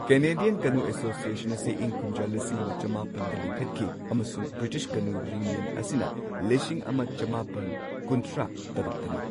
Canadian canoe association ꯑꯁꯤ ꯏꯪ ꯀꯨꯝꯖꯥ ꯂꯤꯁꯤꯡ ꯑꯃ ꯆꯃꯥꯄꯟꯗ ꯂꯤꯡꯈꯠꯈꯤ꯫ ꯑꯃꯁꯨꯡ ꯕ꯭ꯔꯤꯇꯤꯁ ꯀꯅꯨ ꯌꯨꯅꯤꯌꯟ ꯑꯁꯤꯅ ꯂꯤꯁꯤꯡ ꯑꯃ ꯆꯃꯥꯄꯟ ꯀꯨꯟꯊ꯭ꯔꯥ ꯇꯔꯨꯛꯇꯅꯤ꯫